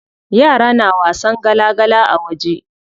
Yara na wasan gala gala a waje.